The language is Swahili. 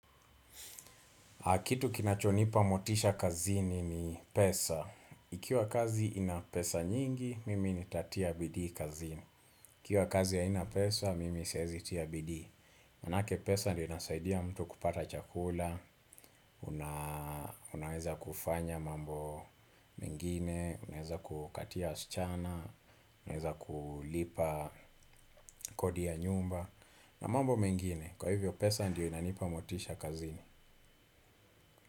Kitu kinachonipa motisha kazini ni pesa. Ikiwa kazi ina pesa nyingi, mimi nitatia bidii kazini. Ikiwa kazi haina pesa, mimi siwezi tia bidii. Maanake pesa ndiyo inasaidia mtu kupata chakula, unaweza kufanya mambo mengine, unaweza kukatia wasichana, unaweza kulipa kodi ya nyumba, na mambo mengine. Kwa hivyo pesa ndio inanipa motisha kazini.